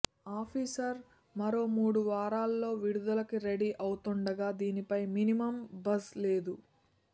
officer మరో మూడు వారాల్లో విడుదలకి రెడీ అవుతోండగా దీనిపై మినిమమ్ బజ్ లేదు